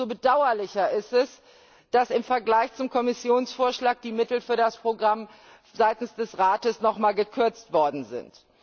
Umso bedauerlicher ist es, dass im Vergleich zum Kommissionsvorschlag die Mittel für das Programm seitens des Rates noch einmal gekürzt worden sind.